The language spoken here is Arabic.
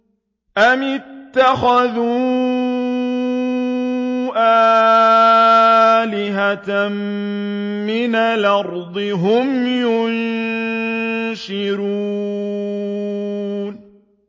أَمِ اتَّخَذُوا آلِهَةً مِّنَ الْأَرْضِ هُمْ يُنشِرُونَ